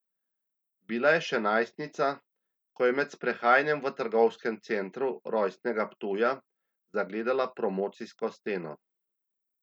Bila je še najstnica, ko je med sprehajanjem v trgovskem centru rojstnega Ptuja zagledala promocijsko steno.